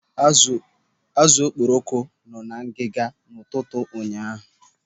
Azụ okporoko nọ ngiga n'ụtụtụ ụnyaahụ.